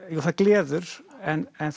jú það gleður en